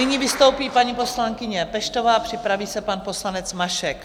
Nyní vystoupí paní poslankyně Peštová a připraví se pan poslanec Mašek.